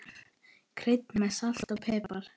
Kryddið með salti og pipar.